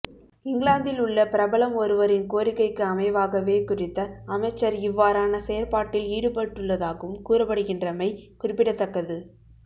இங்கிலாந்தில் உள்ள பிரபலம் ஒருவரின் கோரிக்கைக்கு அமைவாகவே குறித்த அமைச்சர் இவ்வாறான செயற்பாட்டில் ஈடுபட்டுள்ளதாகவும் கூறப்படுகின்றமை குறிப்பிடத்தக்கது